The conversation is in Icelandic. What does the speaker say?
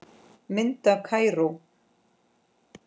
Mynd af Kaíró